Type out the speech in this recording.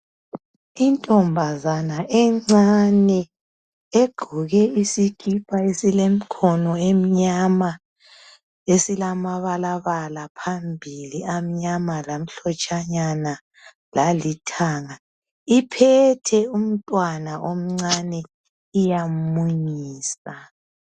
Intombazana encane egqoke isikipha esilemkhono emnyama esilamabalabala phambili amnyama lamhlotshanyana lalithanga, iphethe umntwana omncane iyamunyisa